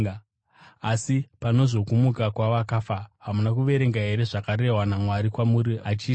Asi pane zvokumuka kwavakafa, hamuna kuverenga here zvakarehwa naMwari kwamuri, achiti,